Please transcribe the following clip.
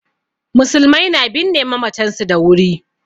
Musulmai na binne mamatan su da wuri